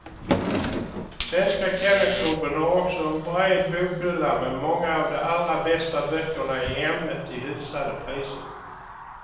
Svenska kennelklubben har också en bred bokhylla med många av de allra bästa böckerna i ämnet till hyfsade priser.